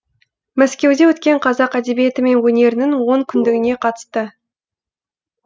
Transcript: мәскеуде өткен қазақ әдебиеті мен өнерінің он күндігіне қатысты